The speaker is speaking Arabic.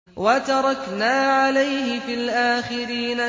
وَتَرَكْنَا عَلَيْهِ فِي الْآخِرِينَ